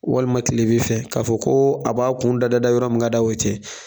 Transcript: Walima kile bin fɛ k'a fɔ ko a b'a kun dada yɔrɔ min ka d'a ye o tɛ